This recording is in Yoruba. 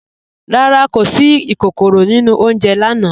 Rárá, kò sí ìkòkòró nínu ọ̀unjẹ̀ lànà.